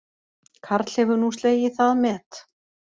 Karl hefur nú slegið það met